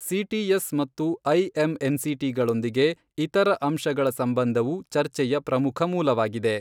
CTS ಮತ್ತು ಐಎಮ್ಎನ್ಸಿಟಿಗಳೊಂದಿಗೆ ಇತರ ಅಂಶಗಳ ಸಂಬಂಧವು ಚರ್ಚೆಯ ಪ್ರಮುಖ ಮೂಲವಾಗಿದೆ.